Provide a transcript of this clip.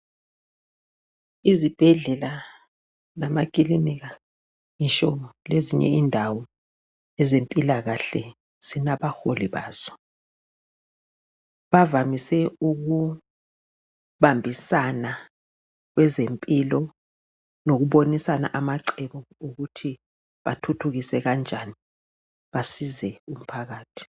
Izibhedlela lamakilinika ngitsho lezinye indawo ezempilakahle zilabaholi bazo. Bavamise ukubambisana kwezempilo lokubonisana amacebo okuthi bathuthukise kanjani, basize umphakathi.